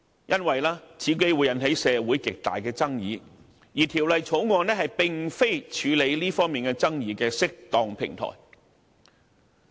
因為此舉會引起社會極大的爭議，而《條例草案》並非處理這方面爭議的適當平台。